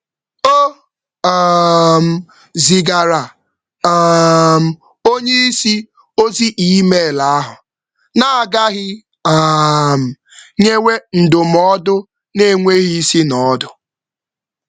Ọ hụrụ na o depụtara oga na oga na email n’ebughị ụzọ nye ndụmọdụ na-achọghị.